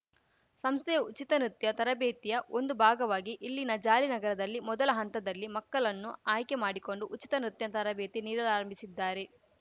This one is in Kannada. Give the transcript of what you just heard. ಸಂಸ್ಥೆಯ ಉಚಿತ ನೃತ್ಯ ತರಬೇತಿಯ ಒಂದು ಭಾಗವಾಗಿ ಇಲ್ಲಿನ ಜಾಲಿ ನಗರದಲ್ಲಿ ಮೊದಲ ಹಂತದಲ್ಲಿ ಮಕ್ಕಲನ್ನು ಆಯ್ಕೆ ಮಾಡಿಕೊಂಡು ಉಚಿತ ನೃತ್ಯ ತರಬೇತಿ ನೀಡಲಾರಂಭಿಸಿದ್ದಾರೆ